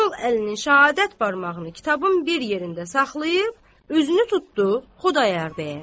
Sol əlinin şəhadət barmağını kitabın bir yerində saxlayıb üzünü tutdu Xudayar bəyə.